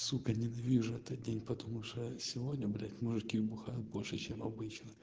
сука ненавижу этот день потому что сегодня блять мужики бухают больше чем обычно